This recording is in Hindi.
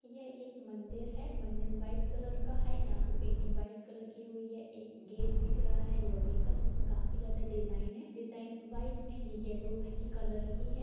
ये एक मंदिर हैमंदिर व्हाइट कलर का है यहां पे पेंटिंग व्हाइट कलर की हुई हैएक गेट दिख रहा लोहे का जिसमे काफ़ी ज्यादा डिजाइन है डिजाइन व्हाइट एण्ड येलो ह कॉलर की है।